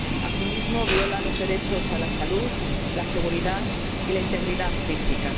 Asimismo, viola los derechos a la salud, la seguridad y la integridad física.